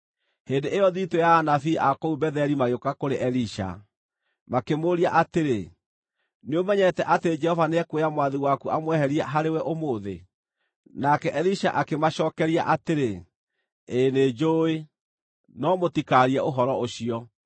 Hĩndĩ ĩyo thiritũ ya anabii a kũu Betheli magĩũka kũrĩ Elisha, makĩmũũria atĩrĩ, “Nĩũmenyete atĩ Jehova nĩekuoya mwathi waku amweherie harĩwe ũmũthĩ?” Nake Elisha akĩmacookeria atĩrĩ, “Ĩĩ nĩnjũũĩ, no mũtikaarie ũhoro ũcio.”